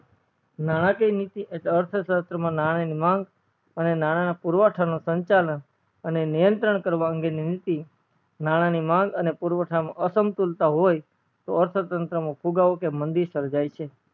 નાણકીય નીતિ અને અર્થ્શાત્ર માં નાણા ની માંગ અને નાણા ના પુરવઠા નો સંચાલન અને નિયંત્રણ કરવા અંગે ની નીતિ નાણા ની માંગ અને પુરવઠા નો અસમ્તાલ હોય તો અર્થ ત્નાત્ર નો ફુગાવો કે માંડી સંજાય છે